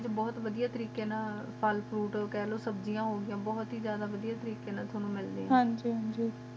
ਮਿੱਟੀ ਬੁਹਤ ਵਾਡਿਯਾ ਤਰੀਕ਼ੇ ਨਾਲ ਤ ਹਾਣੁ ਮਿਹਦੇ ਹਨ ਜੀ ਹਨ ਜੀ